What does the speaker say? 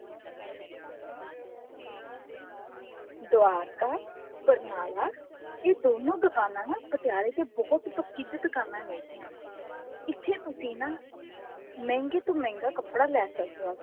ਦਵਾਰਕਾ ਬਰਨਾਲਾ ਇਹ ਦੋਨੋ ਦੁਕਾਨਾ ਨਾ ਪਟਿਆਲੇ ਦੀ ਬਹੁਤ ਪ੍ਰਸਿਧ ਦੁਕਾਨਾ ਨੇ ਗਿਆ ਇੱਥੇ ਤੁਸੀਂ ਨਾ ਮਹਿੰਗੇ ਤੋ ਮਹਿੰਗਾ ਕੱਪੜਾ ਲੈ ਸਕਦਾ